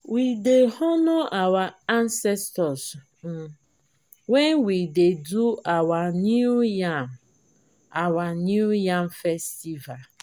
we dey honour our ancestors um wen we dey do our new yam our new yam festival.